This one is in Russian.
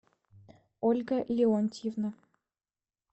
ольга леонтьевна